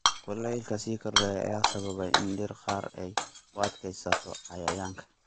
Kuleylka sii kordhaya ayaa sababay in dhir qaar ay u adkeysato cayayaanka.